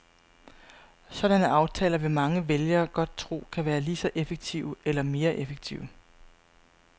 Sådanne aftaler vil mange vælgere godt tro kan være lige så effektive eller mere effektive.